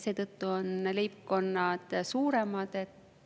Nende tõttu on leibkonnad suuremad.